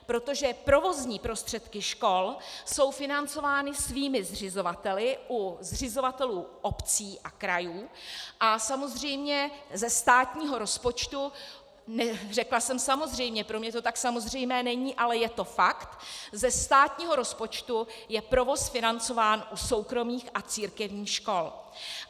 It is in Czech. Protože provozní prostředky škol jsou financovány svými zřizovateli u zřizovatelů obcí a krajů, a samozřejmě ze státního rozpočtu - řekla jsem samozřejmě, pro mě to tak samozřejmé není, ale je to fakt - ze státního rozpočtu je provoz financován u soukromých a církevních škol.